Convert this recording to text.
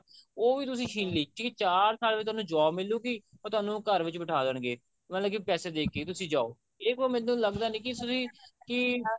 ਉਹ ਵੀ ਤੁਸੀਂ ਛਿਨ ਲੀ ਕਿ ਚਾਰ ਸਾਲ ਵਿੱਚ ਤੁਹਾਨੂੰ job ਮਿਲੂਗੀ ਉਹ ਤੁਹਾਨੂੰ ਘਰ ਵਿੱਚ ਬਿਠਾ ਦੇਣਗੇ ਮਤਲਬ ਕਿ ਪੈਸੇ ਦੇਕੇ ਤੁਸੀਂ ਜਾਉ ਇਹ ਮੈਨੂੰ ਫੇਰ ਲੱਗਦਾ ਨਹੀਂ ਕਿ ਇਸ ਵਿੱਚ ਕੀ ਕੀ